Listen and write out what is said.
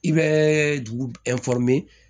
I bɛ dugu